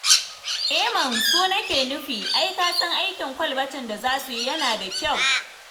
Eh man! su nake nufi, ai ka san aikin kwalbatin da za su yi yana da kyau.